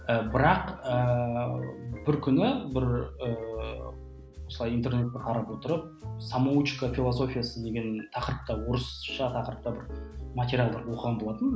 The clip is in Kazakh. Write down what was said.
ы бірақ ыыы бір күні бір ыыы осылай интернетті қарап отырып самоучка философиясы деген тақырыпта орысша тақырыпта бір материалдар оқыған болатынмын